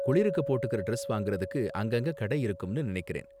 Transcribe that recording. குளிருக்கு போட்டுக்கற டிரஸ் வாங்குறதுக்கு அங்கங்க கடை இருக்கும்னு நினைக்கிறேன்.